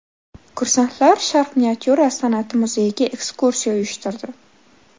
Kursantlar Sharq miniatyura san’ati muzeyiga ekskursiya uyushtirdi .